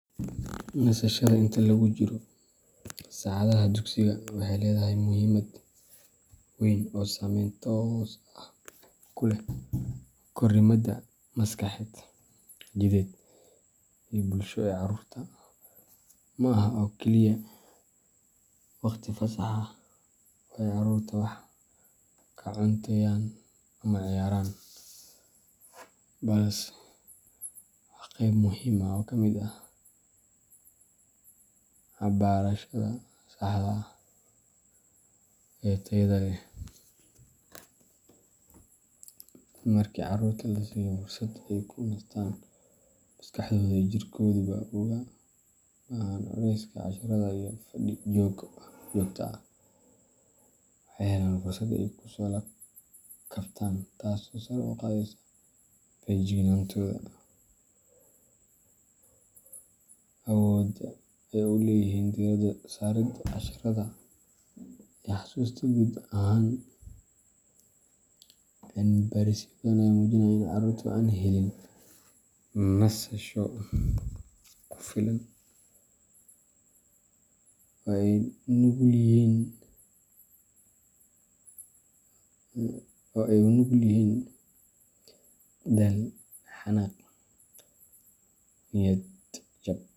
Nasashada inta lagu jiro saacadaha dugsiga waxay leedahay muhiimad weyn oo saameyn toos ah ku leh korriimada maskaxeed, jidheed, iyo bulsho ee carruurta. Ma aha oo keliya waqti fasax ah oo ay carruurtu wax ka cunteeyaan ama ciyaaraan, balse waa qeyb muhiim ah oo ka mid ah habbarashada saxda ah ee tayada leh. Markii carruurta la siiyo fursad ay ku nastaan oo maskaxdooda iyo jirkooduba uga baxaan culayska casharada iyo fadhi joogto ah, waxay helaan fursad ay ku soo kabtaan, taasoo sare u qaadaysa feejignaantooda, awoodda ay u leeyihiin diiradda saaridda casharrada, iyo xasuusta guud ahaan. Cilmi baarisyo badan ayaa muujinaya in carruurta aan helin nasasho kugu filan ay u nugul yihiin daal, xanaaq, niyad jab.